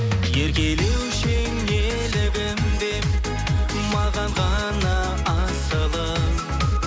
еркелеуші едің елігім деп маған ғана асылым